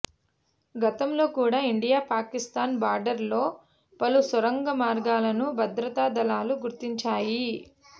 గతంలో కూడా India Pakistan border లో పలు సొరంగ మార్గాలను భద్రతా దళాలు గుర్తించాయి